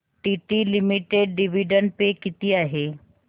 TT limited dividend pay किती आहे